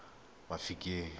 mafikeng